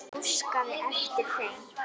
Öll úrslit mótsins